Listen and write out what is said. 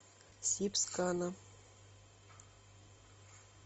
сибскана